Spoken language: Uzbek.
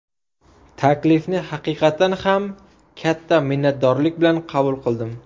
Taklifni haqiqatan ham katta minnatdorlik bilan qabul qildim.